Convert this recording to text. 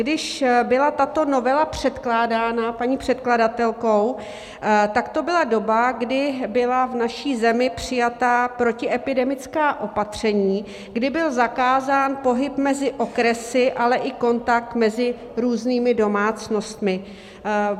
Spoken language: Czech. Když byla tato novela předkládána paní předkladatelkou, tak to byla doba, kdy byla v naší zemi přijata protiepidemická opatření, kdy byl zakázán pohyb mezi okresy, ale i kontakt mezi různými domácnostmi.